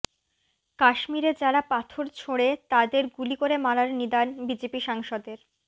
কাশ্মীরে যারা পাথর ছোঁড়ে তাদের গুলি করে মারার নিদান বিজেপি সাংসদের